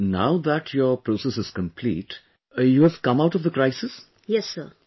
Preeti ji, now that your process is complete, you have come out of the crisis